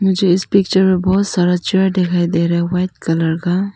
मुझे इस पिक्चर में बहोत सारा दिखाई दे रहे हो व्हाइट कलर का।